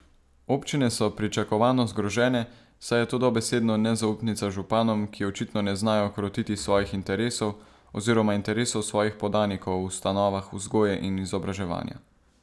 Občine so pričakovano zgrožene, saj je to dobesedno nezaupnica županom, ki očitno ne znajo krotiti svojih interesov oziroma interesov svojih podanikov v ustanovah vzgoje in izobraževanja.